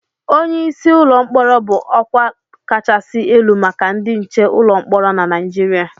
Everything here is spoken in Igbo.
Onye isi ụlọ mkpọrọ bụ ọkwa kachasị elu maka ndị nche ụlọ mkpọrọ na Nigeria